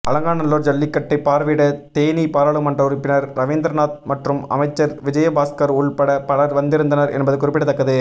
அலங்காநல்லூர் ஜல்லிக்கட்டை பார்வையிட தேனி பாராளுமன்ற உறுப்பினர் ரவீந்திரநாத் மற்றும் அமைச்சர் விஜயபாஸ்கர் உள்பட பலர் வந்திருந்தனர் என்பது குறிப்பிடத்தக்கது